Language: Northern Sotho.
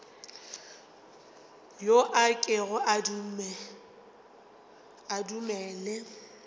yo a kego a dumele